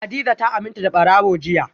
hadiza ta aminta da barawo jiya